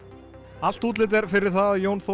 allt útlit er fyrir það að Jón Þór